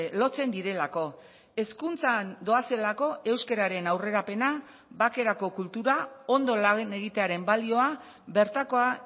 lotzen direlako hezkuntzan doazelako euskararen aurrerapena bakerako kultura ondo lan egitearen balioa bertakoa